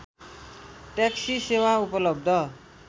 taxi सेवा उपलब्ध